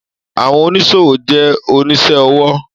Àwọn oníṣòwò jẹ́ onísẹ́ ọwọ́